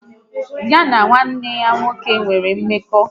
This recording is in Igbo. Ya na nwanne ya nwoke e nwere mmekọ?